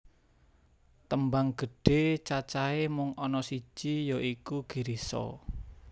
Tembang gedhe cacahe mung ana siji ya iku Girisa